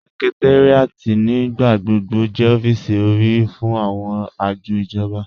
Sẹ̀kẹ̀táríàtì nígbàgbọ̀gbọ̀ jẹ́ ọ̀fíìsì orí fún awọn ajọ̀ ijọ̀ba.